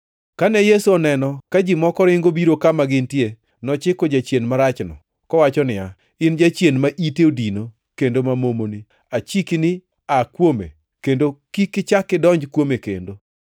Kane Yesu oneno ka ji moko ringo biro kama gintie, nochiko jachien marachno kowacho niya, “In jachien ma ite odino kendo ma momoni, achiki ni aa kuome kendo kik ichak idonj kuome kendo.”